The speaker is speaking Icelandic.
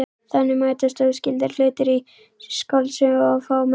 Þannig mætast óskyldir hlutir í skáldsögum og fá merkingu.